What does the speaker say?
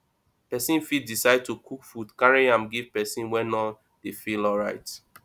persin fit decide to cook food carry go give persin wey no de feel alright